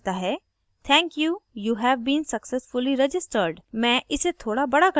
फिर मुझे एक message मिलता है thank you you have been successfully registered